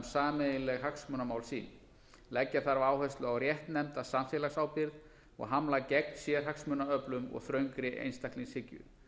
sameiginleg hagsmunamál sín leggja þarf áherslu á réttnefnda samfélagsábyrgð og hamla gegn sérhagsmunaöflum og þröngri einstaklingshyggju